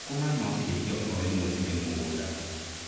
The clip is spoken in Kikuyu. Thũkũma no ciendio o rĩmwe cirĩ mũgũnda.